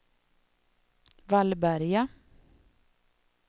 Vallberga